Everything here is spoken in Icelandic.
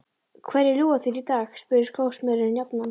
Hverju ljúga þeir í dag? spurði skósmiðurinn jafnan.